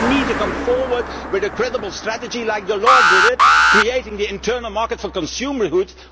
You need to come forward with a credible strategy like Delors did to create the internal market for consumer goods.